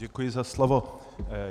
Děkuji za slovo.